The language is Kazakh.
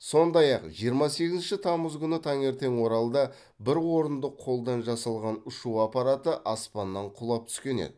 сондай ақ жиырма сегізінші тамыз күні таңертең оралда бір орындық қолдан жасалған ұшу аппараты аспаннан құлап түскен еді